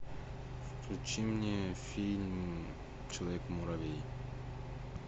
включи мне фильм человек муравей